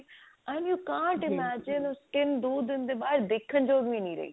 and you cant imagine ਕੀ ਉਹ skin ਦੋ ਦਿਨ ਦੇ ਬਾਦ ਦੇਖਣ ਯੋਗ ਵੀ ਨਹੀ ਰਹੀ